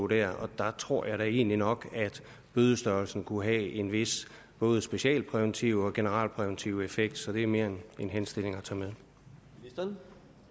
der tror jeg da egentlig nok at bødestørrelsen godt kunne have en vis både specialpræventiv og generel præventiv effekt så det mere er en henstilling om